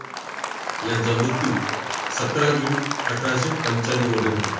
यांचा मृत्यू सतरा जून अठराशे पंच्याण्णवमध्ये झाला.